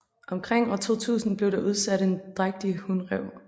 Omkring år 2000 blev der udsat en drægtig hunræv